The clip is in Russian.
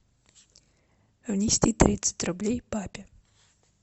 внести тридцать рублей папе